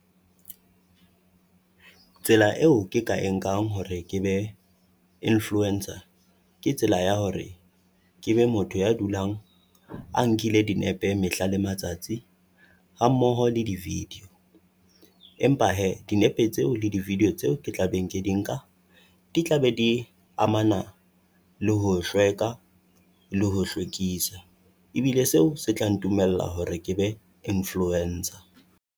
Tsela eo ke ka e nkang hore ke be influencer, ke tsela ya hore ke be motho ya dulang a nkile dinepe mehla le matsatsi hammoho le di-video. Empa hee dinepe tseo le di-video tseo ke tla beng ke di nka di tla be di amana le ho hlwela le ho hlwekisa. Ebile seo se tla ntumella hore ke be influencer.